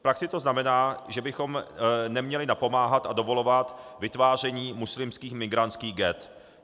V praxi to znamená, že bychom neměli napomáhat a dovolovat vytváření muslimských migrantských ghett.